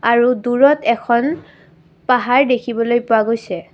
আৰু দূৰত এখন পাহাৰ দেখিবলৈ পোৱা গৈছে।